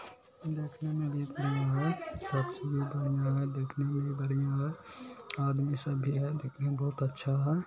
देखने में भी बढ़िया है सब चीज़ बढ़िया है देखने में भी बढ़िया है आदमी सब भी है देखने में बहुत अच्छा है ।